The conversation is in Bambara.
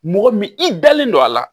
Mɔgɔ min i dalen don a la